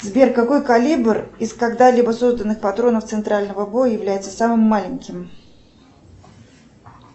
сбер какой калибр из когда либо созданных патронов центрального боя является самым маленьким